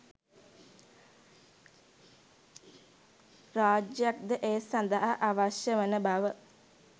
රාජ්‍යයක්ද ඒ සඳහා අවශ්‍ය වන බව